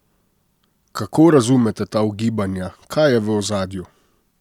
Kako razumete ta ugibanja, kaj je v ozadju?